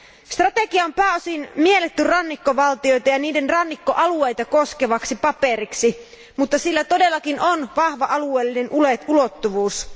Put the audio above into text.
Strategia on pääosin mielletty rannikkovaltioita ja niiden rannikkoalueita koskevaksi paperiksi, mutta sillä todellakin on vahva alueellinen ulottuvuus.